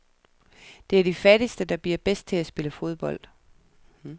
Det er de fattigste, der bliver bedst til at spille fodbold.